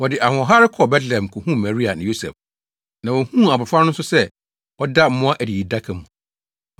Wɔde ahoɔhare kɔɔ Betlehem kohuu Maria ne Yosef. Na wohuu abofra no nso sɛ ɔda mmoa adididaka mu.